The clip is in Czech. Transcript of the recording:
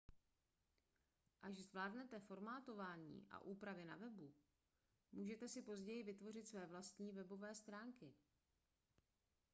až zvládnete formátování a úpravy na webu můžete si později vytvořit své vlastní webové stránky